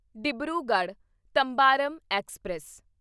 Dibrugarh Tambaram express